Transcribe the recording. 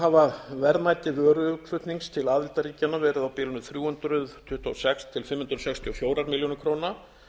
hafa verðmæti vöruinnflutnings til aðildarríkjanna verið á bilinu þrjú hundruð tuttugu og sex til fimm hundruð sextíu og fjórar milljónir króna